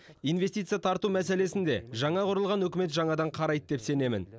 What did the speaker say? инвестиция тарту мәселесін де жаңа құрылған үкімет жаңадан қарайды деп сенемін